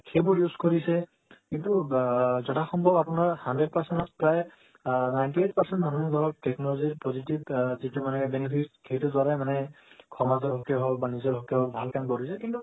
cable use কৰিছে কিন্তু যথা সম্ভৱ আপোনাৰ hundred percent ত প্ৰায় ninety eight percent মানুহৰ লগত technology ৰ positive যিটো মানে benefit সেইটো দ্বাৰা মানে সমাজৰ হকে হোক ভাল কাম কৰিছে